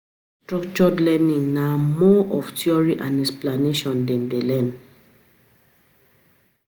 For structured learning na more of theory and explanation dem de learn